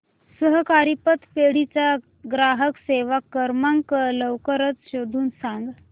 सहकारी पतपेढी चा ग्राहक सेवा क्रमांक लवकर शोधून सांग